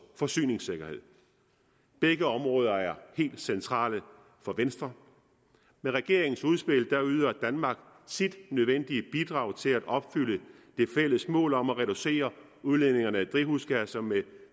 forsyningssikkerhed begge områder er helt centrale for venstre med regeringens udspil yder danmark sit nødvendige bidrag til at opfylde det fælles mål om at reducere udledningerne af drivhusgasser med